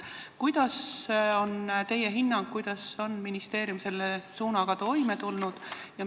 Milline on teie hinnang, kuidas on ministeerium selle suunaga toime tulnud?